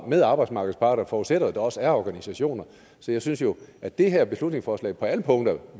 med arbejdsmarkedets parter forudsætter jo at der også er organisationer så jeg synes jo at det her beslutningsforslag på alle punkter